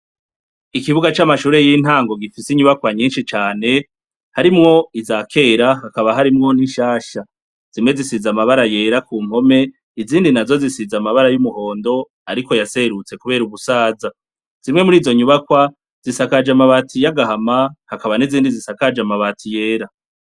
ikigo c' amashure y'intago gifis' inyubakwa nyinshi cane, harimw' iza kera hakaba harimwo ninshasha, zimwe zisiz' amabara yera kumpome, izindi nazo zisiz' amabara y' umuhond' ariko ya serutse kubera ubusaza, zimwe murizo nyubakwa zisakajw' amabati y' agahama hakaba n ' izindi zisakaj' amabati yera.